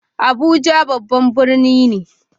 Abuja babban birni ne.